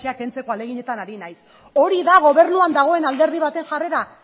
kentzeko ahaleginetan ari naiz hori da gobernuan dagoen alderdi baten jarrera